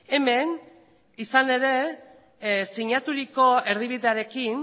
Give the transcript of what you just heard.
hemen izan ere sinaturiko erdibidearekin